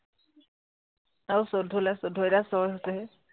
আৰু চৌধ্য় লাগে চৌধ্য়, এতিয়া ছয় হৈছেহে